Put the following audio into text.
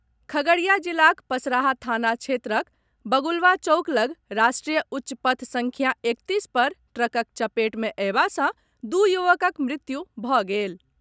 खगड़िया जिलाक पसराहा थाना क्षेत्रक बगुलवा चौक लगऽ राष्ट्रीय उच्चपथ संख्या एकतीस पर ट्रकक चपेट मे अएबा सॅ दू युवकक मृत्यु भऽ गेल।